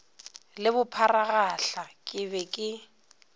le bopharagahla ke be ke